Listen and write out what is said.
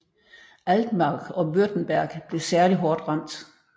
Altmark og Württemberg blev særlig hårdt ramt